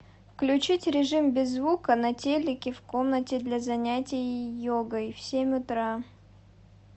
включить режим без звука на телике в комнате для занятия йогой в семь утра